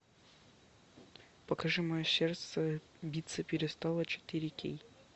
покажи мое сердце биться перестало четыре кей